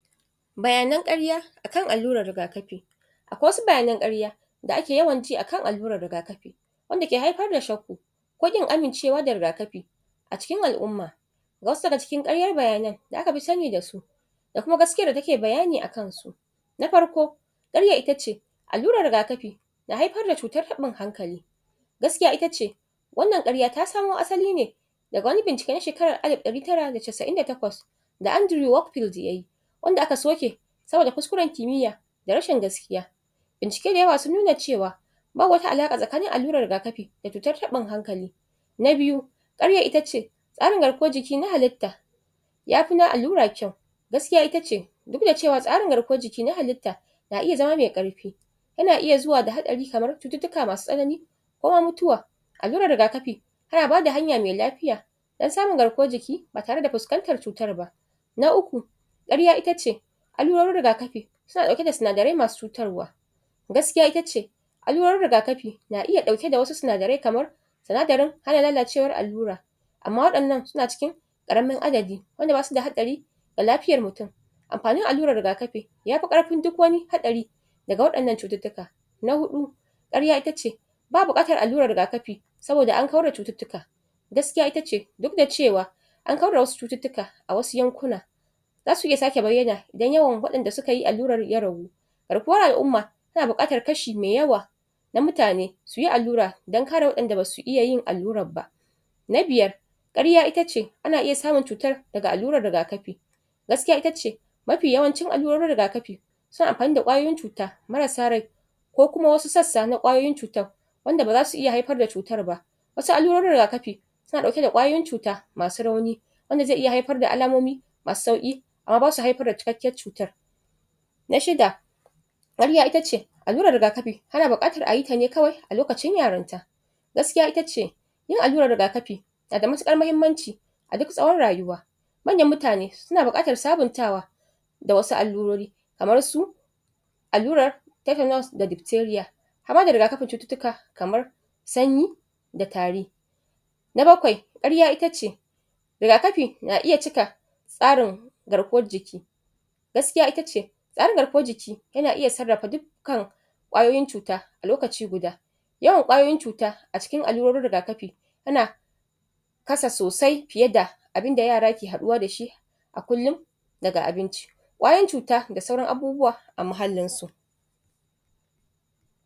Barka da warhaka. A wannan fai-fai, an gwado mana ne, watto yadda wasu? suka fara rayuwar su na farko. Kamar yadda muka sani, rayuwar da akeyi rayuwar aure, wato rayuwa ne na mutane guda biyu. wato ma'ana; mace da namiji. An gwado mana ne yadda mace da namiji suka fara rayuwar su a karon farko. Yayin da kamar yadda muke gani an gwado mana wannan gida, gida ne da yake ɗauke da farin ciki, gida ne da yake ɗauke da murna, a cikin sa. Wanda wato suka gwado mana cewa masoya ne na gaskiya, yayin da kamar yadda aka sani ne, ko wani gida? kowa yana ɗaukar wato yanayin ayyukan sa. Kamar yadda muka sani, shi namiji ya kan ɗauki, wasu ayyuka da dama. Haka ita ma mace, ta kan ɗauki wasu ayyuka da dama, yayin da kowa da fannin da yake gudanar da yanayin ayyukan sa na cikin gida. Sannan, kamar yadda muka sani ne, bayan wato kowa ya ɗauki yanayin aikin sa, kamar namiji; shi zai fita ne yaje yayi aiki, sannan ya dawo gida ya ɗauki nauyin abincin da za aci, wato ƙuɗaɗe da za ayi amfani dasu a saya abubuwa a cikin gida. Ita kuma mace; takan ɗauki wato ɗawainiyar girki,? Sharan gida, wato da sauran su. Kamar yadda aka gwado mana, an gwado mana ne yanda ita macen ta tashi,? take gudanar da wato ayyukan cikin gidan ta da safiya, yayin da shi kuma namijin yake kwance a gado yake bacci, kafin a ta da shi. Ita an gwado ne, wato yayin da ta fara shiga madafa, inda ta fara amfani da yanka tumatiri, bayan ta yanka tumatiri, wato ta zo ta haɗa kaye-kaye, wanda ake mfani dashi wajen yin girki. Abinda ake nufi da girki a nan, wajen dafa abinci. Yayin da taje ta yayyanka kayan miyan ta, ta haɗa shi, ta ɗau wato tukunya ta ɗaura. Yanda ta fara girki, tayi girkin ta, ta gama. Bayan ta gama da wannan girki, ta koma taje tayi wato wankw-wanke, da goge-goge, na duk abubuwa da ta ɓata a wannan kicin. Wanda ya gwada mana cewa tana ɗauke wato da tsafta, na muhalli. Ta tsaftace muhallin ta, wato madafa, yanda tayi girke-girke. Sannan taje? ta tada namijin a bacci, yayinda yaga cewa ya ma makara da fita, wato i'zuwa wurin aikin sa, wato i'zuwa makarantar da yake koyarwa. Yayin da ta haɗa abinci, ya fito yana mai sauri, da ya fita ma a guje, wanda ya tafi i'zuwa wannan makaranta, wanda fitar sa ya tabbatar mana da cewa ya makara. Nagode.